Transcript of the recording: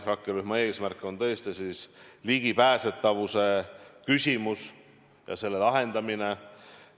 Rakkerühma eesmärk on tõesti ligipääsetavuse küsimuse lahendamine.